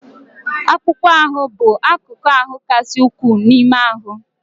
Akpụkpọ ahụ bụ akụkụ kasị ukwuu n'ime ahụ.